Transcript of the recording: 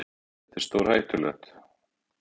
Hvað er þetta stórhættulegt?